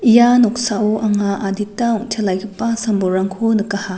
ia noksao anga adita ong·telaigipa sam-bolrangko nikaha.